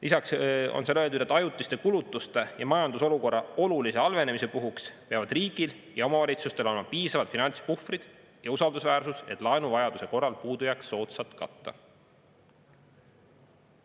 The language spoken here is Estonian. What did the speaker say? Lisaks on seal öeldud: "Ajutiste kulutuste ja majandusolukorra olulise halvenemise puhuks peavad riigil ja omavalitsustel olema piisavad finantspuhvrid ja usaldusväärsus, et laenuvajaduse korral puudujääk soodsalt katta.